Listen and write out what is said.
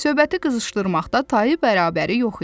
Söhbəti qızışdırmaqda tayı bərabəri yox idi.